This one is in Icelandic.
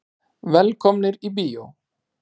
Velkomnir í bíó.